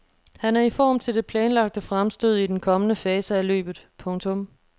Han er i form til de planlagte fremstød i den kommende fase af løbet. punktum